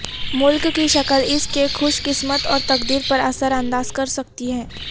ملک کی شکل اس کے خوش قسمت اور تقدیر پر اثر انداز کر سکتی ہے